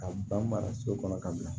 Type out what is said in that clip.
Ka ban maraso kɔnɔ ka bila